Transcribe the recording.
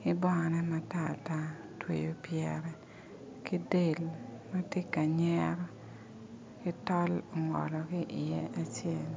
ki bongone matar tar otweyo pyere ki del ma tye ka nyero ki tol ongolo ki iye acel